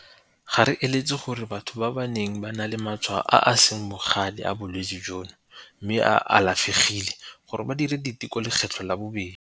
Ga re eletse gore batho ba ba neng ba na le matshwao a a seng bogale a bolwetse jono mme ba alafegile go dira diteko lekgetlho la bobedi.